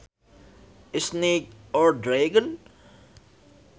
A snake or dragon